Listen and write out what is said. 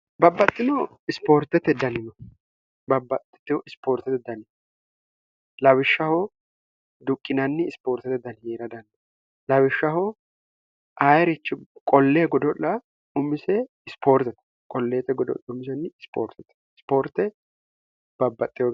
babbaxxitihu ispoortete danin lawishshahoo duqqinanni ispoortete dani yee'ra danna lawishshahoo ayirichi qollee godo'la umise ispoortete qolleete godo' umisnni isoortete isoortebx